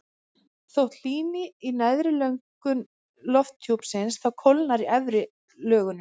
þótt hlýni í neðri lögum lofthjúpsins þá kólnar í efri lögunum